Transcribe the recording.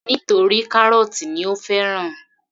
Nítorí kárọ́tì ni ó fẹ́ràn